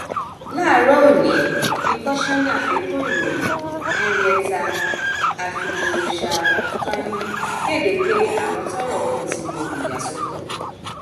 láàárọ ọnì ni kọsánná fẹtọ ìròyìn henrietta a filabioshatahéhìn kéde pé àwọn tọrọ kàn ti lo ìyàsọtọ